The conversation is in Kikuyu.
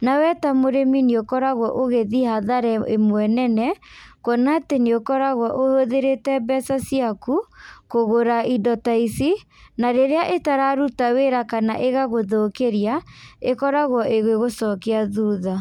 na we ta mũrĩmi nĩũkoragwo ũgĩthiĩ hathara ĩmwe nene, kuona atĩ nĩũkoragwo ũhũthĩrĩte mbeca ciaku, kũgũra indo ta ici, na rĩrĩa ĩtararuta wĩra kana ĩgagũthũkĩria, ĩkoragwo ĩgĩgũcokia thutha.